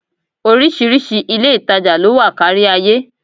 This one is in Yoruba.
Oríṣiríṣi ilé-ìtàjà ló wà kárí ayé